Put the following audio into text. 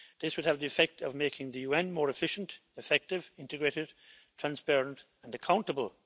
This would have the effect of making the UN more efficient, effective, integrated, transparent and accountable.